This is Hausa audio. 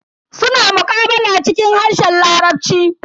Suna muqabala cikin harshen larabci.